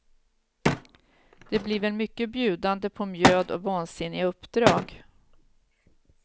Det blir väl mycket bjudande på mjöd och vansinniga uppdrag.